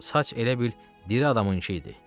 Saç elə bil diri adamınkı idi.